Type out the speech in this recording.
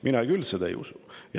Mina küll seda ei usu.